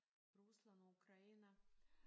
Rusland og Ukraine